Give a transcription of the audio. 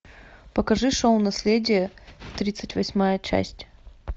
покажи шоу наследие тридцать восьмая часть